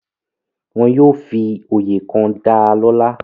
Wọ́n yóò fi oyè kan dalọ́lá.